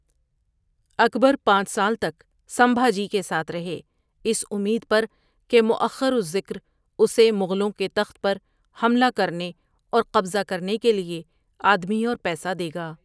اکبر پانچ سال تک سمبھاجی کے ساتھ رہے اس امید پر کہ مؤخر الذکر اسے مغلوں کے تخت پر حملہ کرنے اور قبضہ کرنے کے لیے آدمی اور پیسہ دے گا۔